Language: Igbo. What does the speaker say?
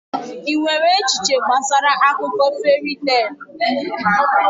Ị nwere echiche gbasara akụkọ feri teelụ?